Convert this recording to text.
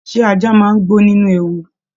Ṣe ajá máa n gbó nínú ewu?